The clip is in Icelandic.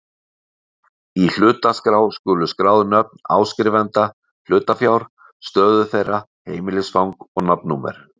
Í hlutaskrá skulu skráð nöfn áskrifenda hlutafjár, stöðu þeirra, heimilisfang og nafnnúmer.